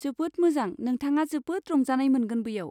जोबोद मोजां, नोंथाङा जोबोद रंजानाय मोनगोन बैयाव।